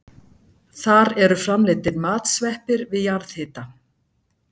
Þar eru framleiddir matsveppir við jarðhita.